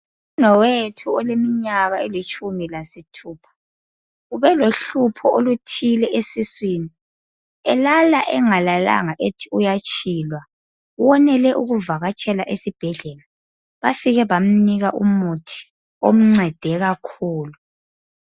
Umnewethu oleminyaka elitshumi lasithupha, ubelohlupho oluthile esiswini, elala engalalanga ethi uyatshilwa. Wonele ukuvakatshela esibhedlela, bafike bamnika umuthi omncede kakhulu.